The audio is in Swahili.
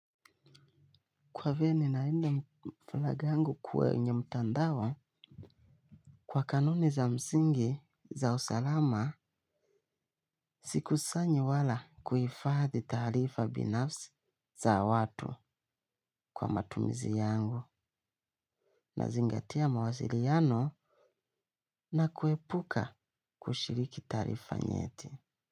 Kwa venye nalinda mflaga yangu kwenye mtandao kwa kanuni za msingi za usalama sikusanyi wala kuhifadhi taarifa binafsi za watu kwa matumizi yangu binafsi na zingatia mawasiliano na kuepuka kushiriki taarifa nyeti.